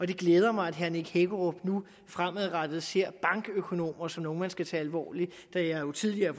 det glæder mig at herre nick hækkerup nu fremadrettet ser bankøkonomer som nogle man skal tage alvorligt da jeg tidligere